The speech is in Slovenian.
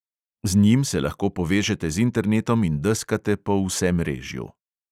Z njim se lahko povežete z internetom in deskate po vsemrežju.